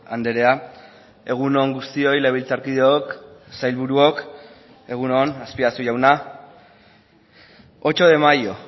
andrea egun on guztioi legebiltzarkideok sailburuok egun on azpiazu jauna ocho de mayo